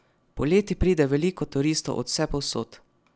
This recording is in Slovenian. Poleti pride veliko turistov od vsepovsod.